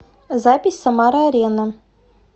запись самара арена